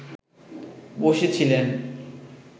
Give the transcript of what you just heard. বসে ছিলেন